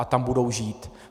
A tam budou žít.